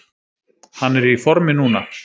Hann er í formi núna.